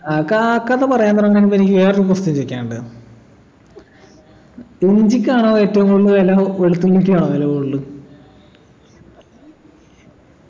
ആകാ കഥ പറയാൻ തുടങ്ങുന്നതിനു മുമ്പെനിക്ക് വേറൊരു question ചോയിക്കാനുണ്ട് ഇഞ്ചിക്കാണോ ഏറ്റവും കൂടുതൽ വില വെളുത്തുള്ളിക്കാണോ വില കൂടുതല്